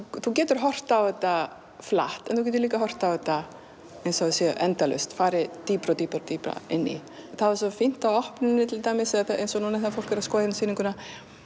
þú getur horft á þetta flatt en þú getur líka horft á þetta eins og það sé endalaust farið dýpra og dýpra dýpra inn í það var svo fínt á opnuninni til dæmis eins og núna þegar fólk er að skoða hérna sýninguna